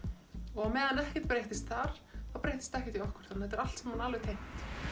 og á meðan ekkert breyttist þar þá breyttist ekkert hjá okkur þannig þetta er allt saman alveg tengt